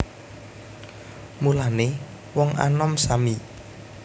Mulané wong anom sami